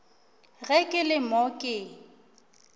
ge ke le mo ke